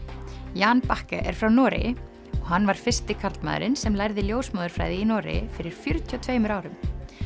Jan er frá Noregi og hann var fyrsti karlmaðurinn sem lærði ljósmóðurfræði í Noregi fyrir fjörutíu og tveimur árum